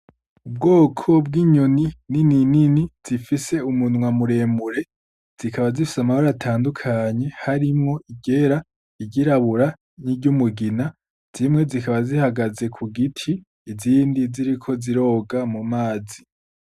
Ubwoko bw'inyoni nininini zifise umunwa muremure zikaba zifise amabara atandukanye harimwo iryera, iryirabura n'iry'umugina zimwe zikaba zihagaze ku giti izindi ziriko ziroga mu mazi.